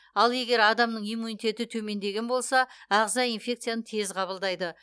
ал егер адамның иммунитеті төмендеген болса ағза инфекцияны тез қабылдайды